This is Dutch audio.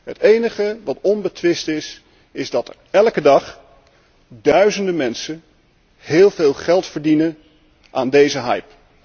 Het enige dat onbetwist is, is dat elke dag duizenden mensen heel veel geld verdienen aan deze hype.